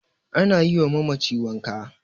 ana yiwa mamaci wanka